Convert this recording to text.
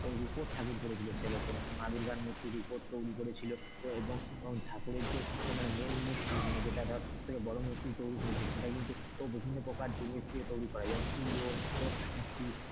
রুপোর ঠাকুর করেছিল সে বছর মানে মা দুর্গার মূর্তির উপর তৈরি করেছিল এবং ঠাকুরের যে এ মানে main মূর্তি মানে যেটা ধর সব থেকে বড়ো মূর্তি তৈরী করেছিল সেটা কিন্তু বিভিন্ন প্রকার জিনিস দিয়ে তৈরী করে,